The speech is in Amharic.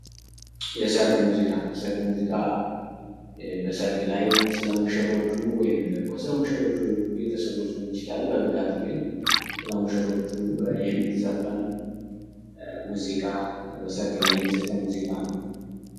የሰርግ ሙዚቃ የሰርግ ሙዚቃ በሰርግ ላይ ወይም ደግሞ ስለ ሙሽሮቹ ወይም ደግሞ ስለሙሽሮቹንቤተሰቦች የሚዘፈን ሙዚቃ በሰርግ ላይ የሚዘፈን ሙዚቃ ነው።